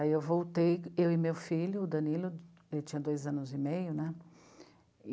Aí eu voltei, eu e meu filho, o Danilo, ele tinha dois anos e meio, né?